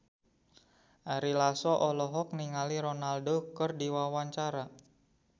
Ari Lasso olohok ningali Ronaldo keur diwawancara